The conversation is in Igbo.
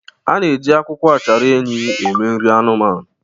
A na-eji akwụkwọ achara enyí eme nri anụmanụ.